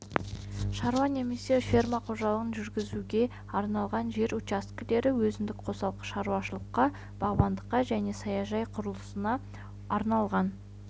шаруа немесе фермер қожалығын жүргізуге арналған жер учаскелер өзіндік қосалқы шаруашылыққа бағбандыққа және саяжай құрылысына арналған